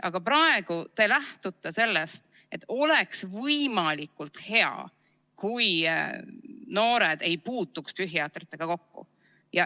Aga praegu te lähtute sellest, et oleks võimalikult hea, kui noored ei puutuks psühhiaatritega kokku.